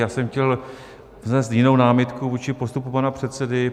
Já jsem chtěl vznést jinou námitku vůči postupu pana předsedy.